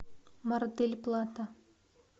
мар дель плата